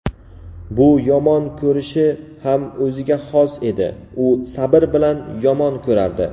bu yomon ko‘rishi ham o‘ziga xos edi: u "sabr bilan yomon ko‘rardi".